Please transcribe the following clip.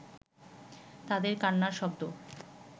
তাঁদের কান্নার শব্দ